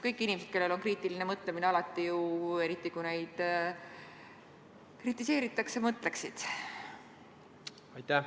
Kõik inimesed, kellel on kriitiline mõtlemine, alati ju, eriti kui neid kritiseeritakse, mõtleksid järele.